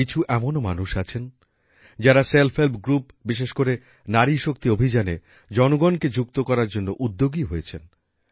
কিছু এমনও মানুষ আছেন যারা সেল্ফ হেল্প গ্রুপ বিশেষ করে নারী শক্তি অভিযানে জনগণকে যুক্ত করার জন্য উদ্যোগী হয়েছেন